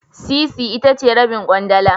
Sisi itace Rabin kwandala